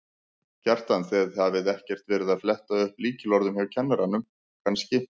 Kjartan: Þið hafið ekkert verið að fletta upp lykilorðum hjá kennurum kannski?